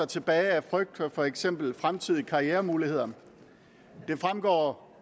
tilbage af frygt for eksempel fremtidige karrieremuligheder det fremgår